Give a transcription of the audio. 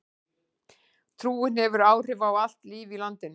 Trúin hefur áhrif á allt líf í landinu.